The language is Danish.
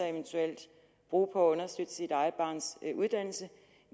eventuelt bruge på at understøtte sit eget barns uddannelse